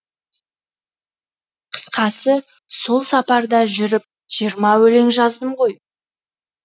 қысқасы сол сапарда жүріп жиырма өлең жаздым ғой